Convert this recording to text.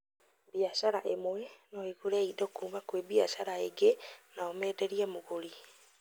Biacara ĩmwe no ĩgũre kĩndũ kuma kwĩ biacara ĩngĩ nao menderie mũgũri